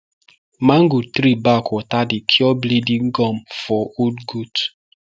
mango tree bark water dey cure bleeding gum for old goat